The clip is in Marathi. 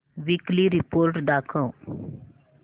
वीकली रिपोर्ट दाखव